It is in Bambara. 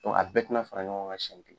a bɛɛ te na fara ɲɔgɔn kan siɲɛ kelen.